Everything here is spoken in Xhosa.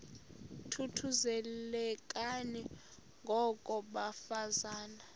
thuthuzelekani ngoko bafazana